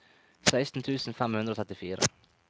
seksten tusen fem hundre og trettifire